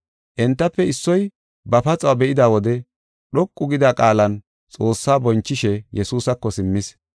Entafe issoy ba paxuwa be7ida wode dhoqu gida qaalan Xoossa bonchishe Yesuusako simmis.